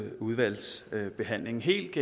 udvalgsbehandlingen helt